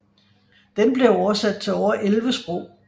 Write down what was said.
Den blev oversat til over 11 sprog